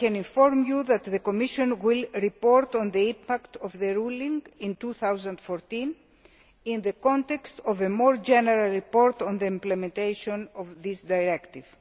I can inform you that the Commission will report on the impact of the ruling in 2014 in the context of a more general report on the implementation of this directive.